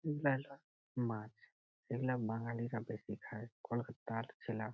বিলালার মাছ এগুলো বাঙালিরা বেশি খায়। কোলকাত্তার ছেলা--